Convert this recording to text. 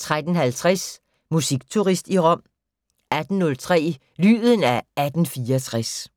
13:50: Musikturist i Rom 18:03: Lyden af 1864